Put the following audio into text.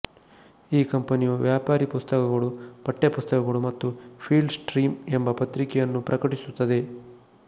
ಈ ಕಂಪನಿಯು ವ್ಯಾಪಾರಿ ಪುಸ್ತಕಗಳು ಪಠ್ಯ ಪುಸ್ತಕಗಳು ಮತ್ತು ಫೀಲ್ಡ್ ಸ್ಟ್ರೀಮ್ ಎಂಬ ಪತ್ರಿಕೆಯನ್ನೂ ಪ್ರಕಟಿಸುತ್ತದೆ